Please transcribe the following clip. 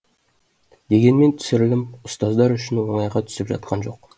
дегенмен түсірілім ұстаздар үшін оңайға түсіп жатқан жоқ